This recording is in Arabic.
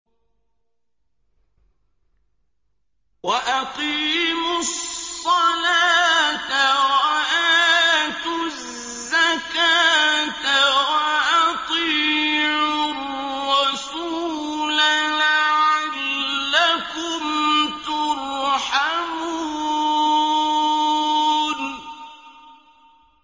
وَأَقِيمُوا الصَّلَاةَ وَآتُوا الزَّكَاةَ وَأَطِيعُوا الرَّسُولَ لَعَلَّكُمْ تُرْحَمُونَ